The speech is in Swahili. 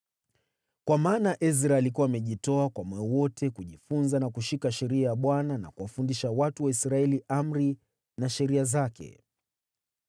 Kwa maana Ezra alikuwa amejitoa kwa moyo wote kujifunza na kushika sheria ya Bwana na kuwafundisha watu wa Israeli amri na sheria zake.